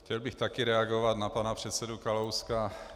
Chtěl bych taky reagovat na pana předsedu Kalouska.